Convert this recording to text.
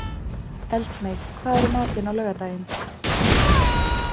Eldmey, hvað er í matinn á laugardaginn?